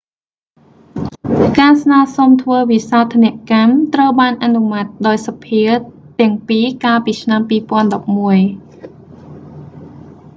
ការស្នើសុំធ្វើវិសោធនកម្ម ត្រូវបានអនុម័តដោយសភាទាំងពីរកាលពីឆ្នាំ2011